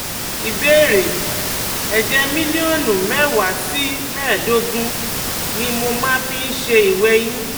Ìbéèrè: Ẹ̀jẹ̀ mílílíọ̀nù mẹ́wàá sí mẹ́ẹ̀ẹ́dógún ni mo máa ń fi ń ṣe ìwẹ̀yìn